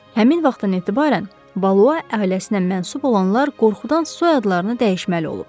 Həmin vaxtdan etibarən Valua ailəsinə mənsub olanlar qorxudan soyadlarını dəyişməli olub.